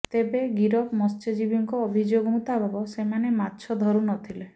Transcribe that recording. େତବେ ଗିରଫ ମତ୍ସ୍ୟଜୀବୀଙ୍କ ଅଭିଯୋଗ ମୁତାବକ ସେମାନେ ମାଛ ଧରୁ ନ ଥିଲେ